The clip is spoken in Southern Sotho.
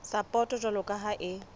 sapoto jwalo ka ha e